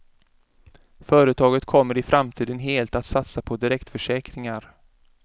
Företaget kommer i framtiden helt att satsa på direktförsäkringar.